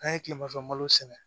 An ye tilemanfɛ malo sɛnɛ